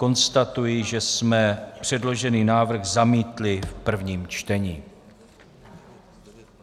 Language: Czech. Konstatuji, že jsme předložený návrh zamítli v prvním čtení.